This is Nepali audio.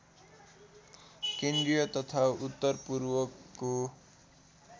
केन्द्रीय तथा उत्तरपूर्वको